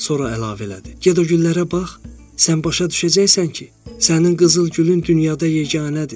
Sonra əlavə elədi: "Get o güllərə bax, sən başa düşəcəksən ki, sənin qızıl gülün dünyada yeganədir."